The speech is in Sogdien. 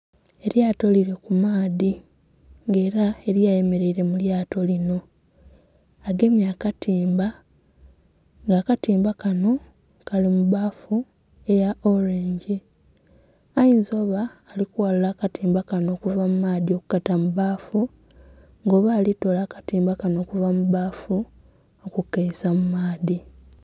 Elyato liri kumaadhi nga era eriyo ayemereire mulyato lino agemye akatimba nga akatimba kano kali mubbaafu eya "orange", ayiza oba alikwalula akatimba kano okuva mumaadhi nga oba alitola akatimba kano okuva mubbaafu nga akaisa mumaadhi.